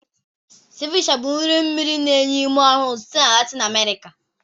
Ceviche bụ nri mmiri na-enye ume ọhụrụ sitere na Latin America.